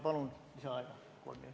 Palun lisaaega!